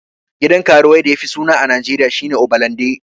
Gidan karuwai da yafi suna a najeriya shine obalande